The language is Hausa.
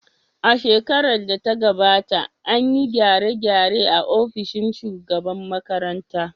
A shekarar da ta gabata, an yi gyare-gyare a ofishin shugaban makarantar